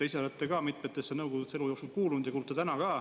Te ise olete ka elu jooksul mitmesse nõukogusse kuulunud ja kuulute ka praegu.